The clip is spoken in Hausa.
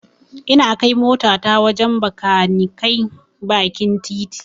Ina kai motata wajen Bakaniken bakin titi.